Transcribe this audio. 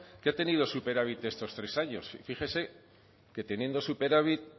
que ha tenido superávit estos tres años y fíjese que teniendo superávit